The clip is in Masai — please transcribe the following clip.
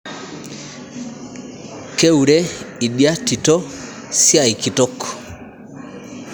Keure idia tito siai kitok